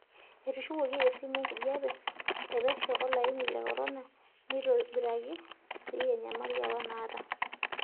Etushukuoki esimu enkijiepe e pesho olaini le korona neitobiraki sii enyamali apa naata.